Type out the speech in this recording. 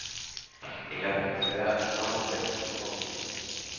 Ég gat ekki farið fyrr en hún kom.